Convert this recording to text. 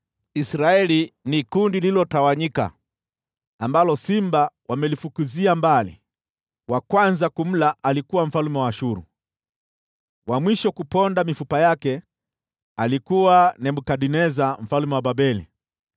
“Israeli ni kundi lililotawanyika ambalo simba wamelifukuzia mbali. Wa kwanza kumla alikuwa mfalme wa Ashuru, wa mwisho kuponda mifupa yake alikuwa Nebukadneza mfalme wa Babeli.”